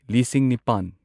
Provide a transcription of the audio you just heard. ꯂꯤꯁꯤꯡ ꯅꯤꯄꯥꯟ